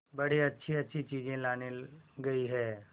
बड़ी अच्छीअच्छी चीजें लाने गई है